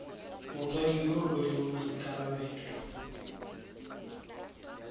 motsadi yo o rweleng maikarabelo